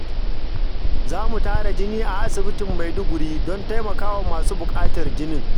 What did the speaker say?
Za mu tara jini a asibitin Maiduguri don taimakawa masu bukatar jinin.